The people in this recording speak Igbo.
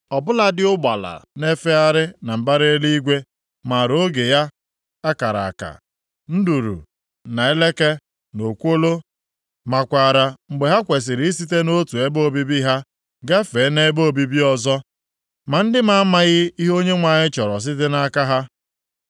Ọ bụladị ụgbala na-efegharị na mbara eluigwe maara oge ya a kara aka. Nduru, na eleke, na okwolo makwaara mgbe ha kwesiri isite nʼotu ebe obibi ha gafee nʼebe obibi ọzọ. Ma ndị m amaghị ihe Onyenwe anyị chọrọ site nʼaka ha.